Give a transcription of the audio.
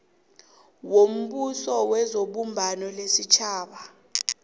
wombuso webumbano lesitjhaba